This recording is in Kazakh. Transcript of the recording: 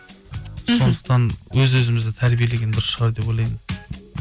өз өзімізді тәрбиелеген дұрыс шығар деп ойлаймын